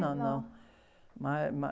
Não, não. Mas é...